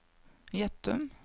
Gjettum